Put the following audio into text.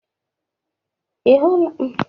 Ị hụla aka larịị taa?